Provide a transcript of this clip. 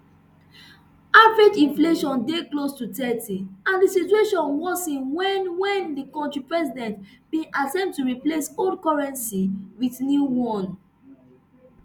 average inflation dey close to thirty and di situation worsen wen wen di kontri president bin attempt to replace old currency wit new one